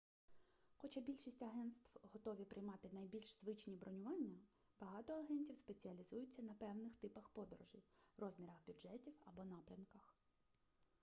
хоча більшість агентств готові приймати найбільш звичні бронювання багато агентів спеціалізуються на певних типах подорожей розмірах бюджетів або напрямках